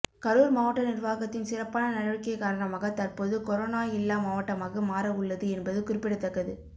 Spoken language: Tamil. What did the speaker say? கரூர் மாவட்ட நிர்வாகத்தின் சிறப்பான நடவடிக்கை காரணமாக தற்போது கொரோனா இல்லா மாவட்டமாக மாற உள்ளது என்பது குறிப்பிடத்தக்கது